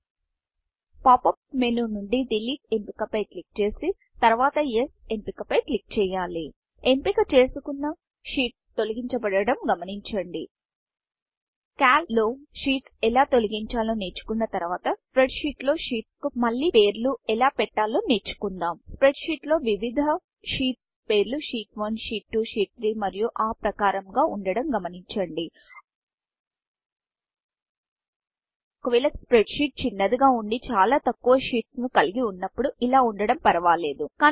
pop up menu pop up మేనునుండి delete ఎంపిక పై క్లిక్ చేసి తర్వాత యెస్ ఎస్ఎంపిక పై క్లిక్ చేయాలి ఎంపిక చేసుకున్న sheetsషీట్స్ తొలగించాబడడం గమనించండి కాల్క్ క్యాల్క్లో షీట్స్ ఎలా తొలగించాలో నేర్చుకున్న తర్వాత స్ప్రెడ్షీట్ స్ప్రెడ్షీట్లో షీట్స్ కు మళ్లీ పేరు ఎలా పెట్టాలో నేర్చుకుందాం స్ప్రెడ్షీట్ స్ప్రెడ్షీట్లో వివిధ షీట్స్ పేర్లు షీట్ 1షీట్ 1 షీట్ 2 షీట్ 3 మరియు ఆప్రకారము గా వుండడం గమనించండి ఒకవేళ spreadsheetస్ప్రెడ్షీట్ చిన్నదిగా వుండి చాల తక్కువ షీట్స్ షీట్స్ను కలిగి వున్నప్పుడు ఇలా వుండడం పరువాలేదు